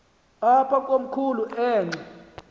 apha komkhulu xa